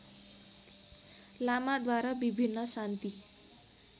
लामाद्वारा विभिन्न शान्ति